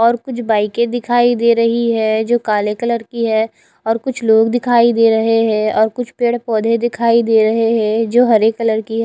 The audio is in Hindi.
और कुछ बाइके दिखाई दे रही है जो काले कलर की है और कुछ लोग दिखाई दे रहे है और कुछ पेड़ पोधे दिखाई दे रहे है जो हरे कलर की है।